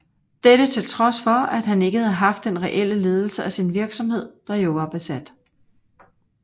Dette til trods for at han ikke havde haft den reelle ledelse af sin virksomhed der jo var besat